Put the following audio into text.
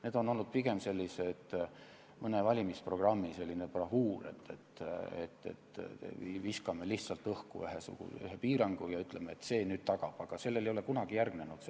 See on olnud pigem mõne valimisprogrammi bravuur, et viskame lihtsalt õhku ühe piirangu ja ütleme, et see nüüd selle tagab.